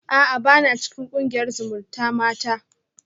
A'a bana cikin kungiyar zumutamata